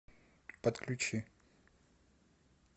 подключи